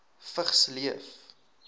vigs leef